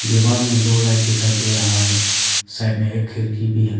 दीवार में दो लाइट दिखाई दे रहा है साइड में एक खिड़की भी है।